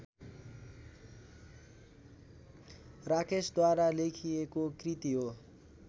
राकेशद्वारा लेखिएको कृति हो